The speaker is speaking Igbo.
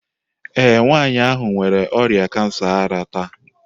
Ee, nwanyị ahụ nwere ọrịa kansa ara taa.